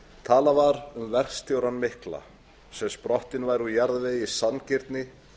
talað var um verkstjórann mikla sem sprottinn var úr jarðvegi sanngirni